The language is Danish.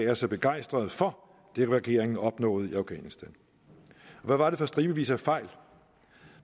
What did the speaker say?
er så begejstrede for det regeringen opnåede i afghanistan hvad var det for stribevis af fejl